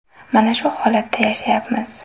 Mana shu holatda yashayapmiz.